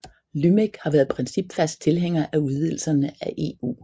LYMEC har været principfast tilhænger af udvidelserne af EU